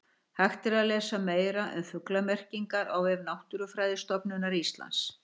hægt er að lesa meira um fuglamerkingar á vef náttúrufræðistofnunar íslands